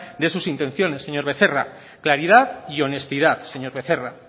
de sus intenciones señor becerra claridad y honestidad señor becerra